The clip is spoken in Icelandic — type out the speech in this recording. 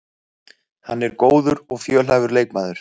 Hann er góður og fjölhæfur leikmaður